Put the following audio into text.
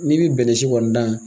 N'i be bɛnɛ si kɔni dan